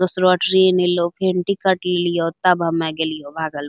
दूसरा ट्रैन एलो भिंडी काट लियो तब हमे गेलियो भागलपुर |